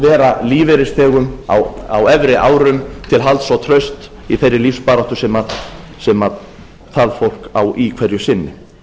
vera lífeyrisþegum á efri árum til halds og trausts í þeirri lífsbaráttu sem það fólk á í hverju sinni